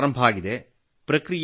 ಈಗಿನ್ನೂ ಆರಂಭವಾಗಿದೆ